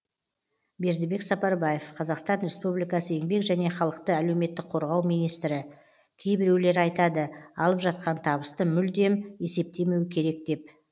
бердібек сапарбаев қазақстан республикасы еңбек және халықты әлеуметтік қорғау министрі кейбіреулері айтады алып жатқан табысты мүлдем есептемеу керек деп